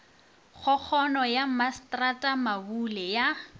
kgokgono ya masetrata mabule ya